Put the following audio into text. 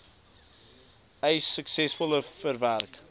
eis suksesvol verwerk